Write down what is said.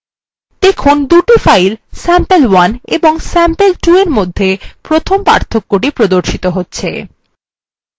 দেখুন দুটি files sample1 এবং sample2এর মধ্যে প্রথম পার্থক্য the প্রদর্শিত হচ্ছে